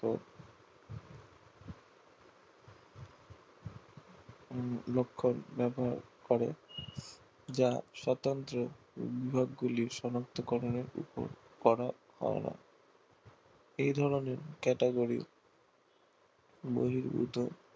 করে যা স্বতন্ত্র বিভাগগুলি সনাক্ত করণের উপর করা হয় না এই ধরণের category বহির্ভূত